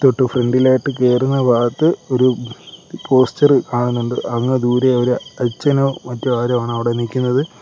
ഏറ്റവും ഫ്രണ്ടിലായിട്ട് കേറുന്ന ഭാഗത്ത് ഒരു പോസ്റ്ററ് കാണുന്നുണ്ട് അങ്ങ് ദൂരെ ഒരു അച്ഛനോ മറ്റോ ആരോ ആണ് അവിടെ നിക്കുന്നത്.